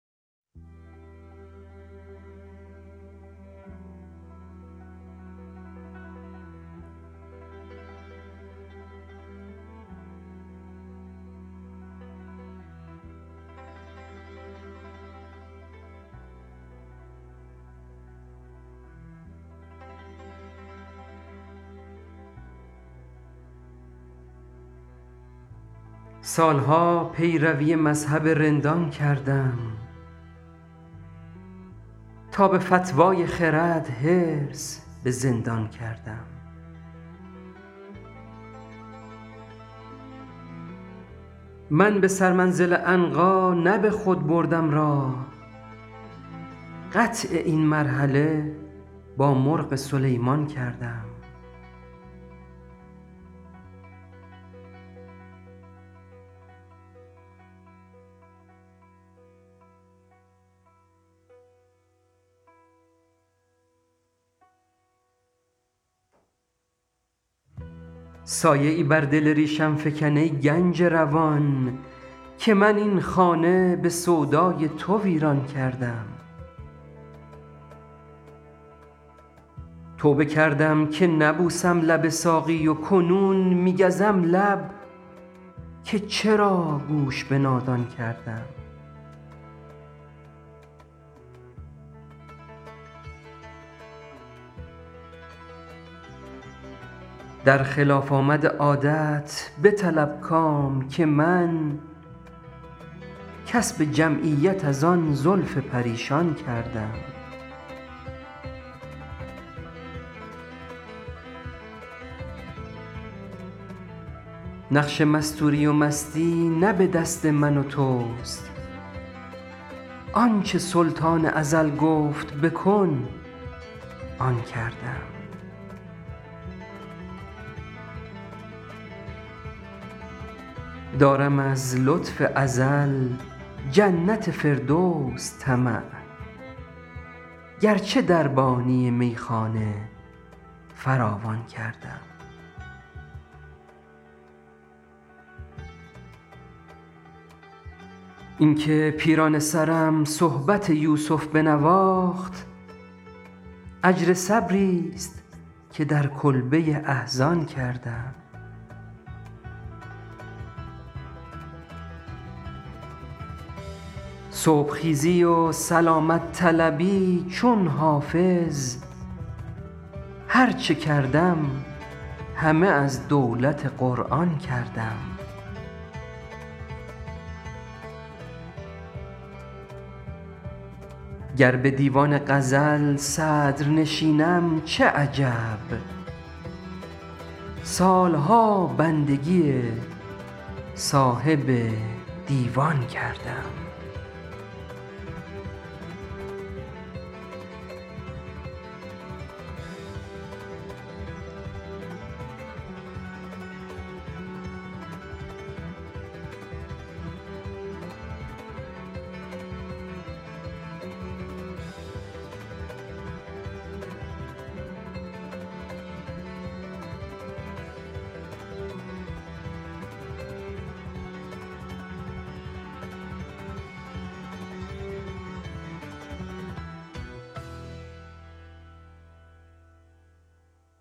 سال ها پیروی مذهب رندان کردم تا به فتوی خرد حرص به زندان کردم من به سرمنزل عنقا نه به خود بردم راه قطع این مرحله با مرغ سلیمان کردم سایه ای بر دل ریشم فکن ای گنج روان که من این خانه به سودای تو ویران کردم توبه کردم که نبوسم لب ساقی و کنون می گزم لب که چرا گوش به نادان کردم در خلاف آمد عادت بطلب کام که من کسب جمعیت از آن زلف پریشان کردم نقش مستوری و مستی نه به دست من و توست آن چه سلطان ازل گفت بکن آن کردم دارم از لطف ازل جنت فردوس طمع گرچه دربانی میخانه فراوان کردم این که پیرانه سرم صحبت یوسف بنواخت اجر صبریست که در کلبه احزان کردم صبح خیزی و سلامت طلبی چون حافظ هر چه کردم همه از دولت قرآن کردم گر به دیوان غزل صدرنشینم چه عجب سال ها بندگی صاحب دیوان کردم